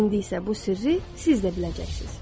İndi isə bu sirri siz də biləcəksiniz.